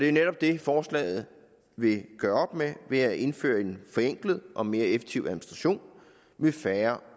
jo netop det forslaget vil gøre op med ved at indføre en forenklet og mere effektiv administration ved færre